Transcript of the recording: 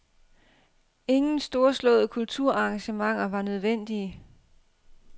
Ingen storslåede kulturarrangementer var nødvendige.